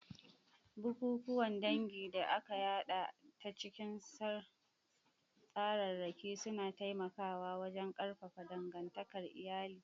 Bikikuwan dangi da aka yada ta cikin tsararraki suna taimakawa wajen ƙarfafa dangantakar iyali.